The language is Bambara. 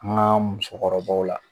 An ka musokɔrɔbaw la.